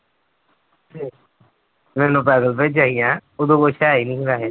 ਮੈਨੂੰ ਪੈਦਲ ਭੇਜਿਆ ਸੀ ਹੈਂ, ਉਦੋਂ ਕੁਛ ਹੈ ਹੀ ਨੀ ਸੀ ਵੈਸੇ।